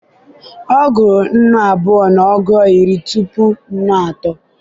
ọ gua nnù abua na ọgu iri tupu nnù atọ